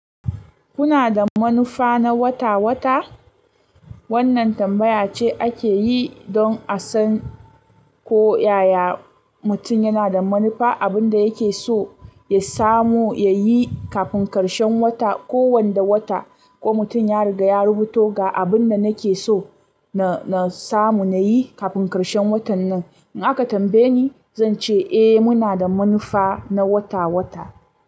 Kuna da manufa na wata-wata? Wannan tambaya ce ake yi don a san ko yaya mutum yana da manufa, abin da yake so ya samu, ya yi kafin karshen wata ko wanda wata, ko mutum ya riga ya rubuto ga abin da nake so na samu, na yi kafin karshen watan nan. In aka tambaye ni, zan ce eh muna da manufa na wata-wata.